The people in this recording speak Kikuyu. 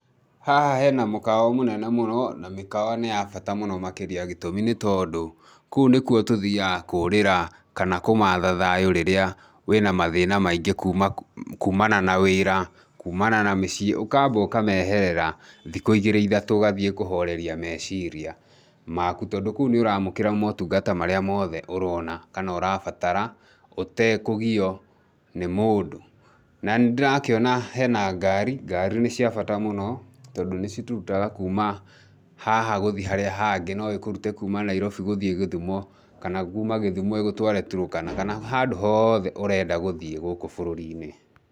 Haha he na mũkawa mũnene mũno na mĩkawa nĩ ya bata mũno makĩria gĩtũmi nĩ tondũ kũu nĩkuo tũthiaga kũũrĩra kana kũmatha thayũ rĩrĩa wĩna mathĩna maingĩ kuumana na wĩra, kuumana na mĩciĩ, ũkaamba ũkameherera thikũ igĩrĩ ithatũ ũgathiĩ kũhoreria meciria maku tondũ kũu nĩ ũraamũkĩra motungata marĩa mothe ũrona kana ũrabatara, ũtekũgio nĩ mũndũ. Na nĩ ndĩrakĩona he na ngari, ngari nĩ cia bata mũno, tondũ nĩcitũrutaga kuuma haha gũthiĩ harĩa hangĩ, no ĩkũrute kuuma Nairobi gũthiĩ Gĩthumo, kana kuuma Gĩthumo ĩgũtware Turkana kana handũ hothe ũrenda gũthiĩ gũkũ bũrũri-inĩ.